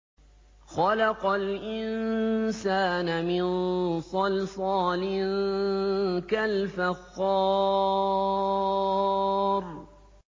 خَلَقَ الْإِنسَانَ مِن صَلْصَالٍ كَالْفَخَّارِ